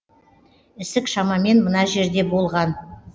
ісік шамамен мына жерде болған